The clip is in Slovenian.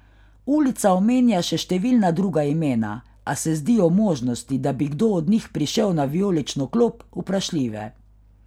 Ulica omenja še številna druga imena, a se zdijo možnosti, da bi kdo od njih prišel na vijolično klop, vprašljive.